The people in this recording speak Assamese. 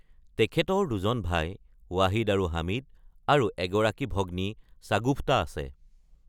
তেখেতৰ দুজন ভাই, ৱাহিদ আৰু হামিদ, আৰু এগৰাকী ভগ্নী ছাগুফতা আছে।